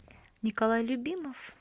николай любимов